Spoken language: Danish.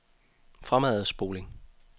fremadspoling